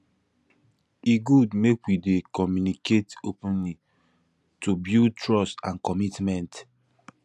e good make we dey communicate openly to build trust and commitment